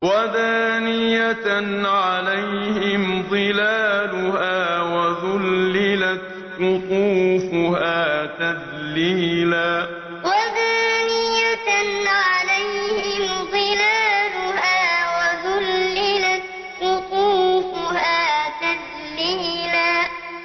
وَدَانِيَةً عَلَيْهِمْ ظِلَالُهَا وَذُلِّلَتْ قُطُوفُهَا تَذْلِيلًا وَدَانِيَةً عَلَيْهِمْ ظِلَالُهَا وَذُلِّلَتْ قُطُوفُهَا تَذْلِيلًا